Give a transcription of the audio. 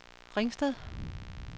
Ringsted